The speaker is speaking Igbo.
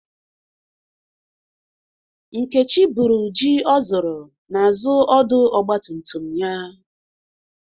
Nkechi buru ji o zụrụ n'azu ọdụ ọgba tum tum ya.